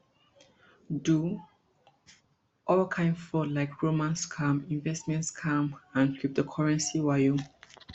do all kain fraud like romance scams investment scams and cryptocurrency wayo